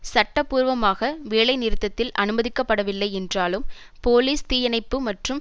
சட்டபூர்வமாக வேலைநிறுத்தத்தில் அனுமதிக்கப்படவில்லை என்றாலும் போலீஸ் தீயணைப்பு மற்றும்